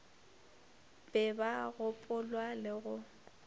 be ba gopolwa le go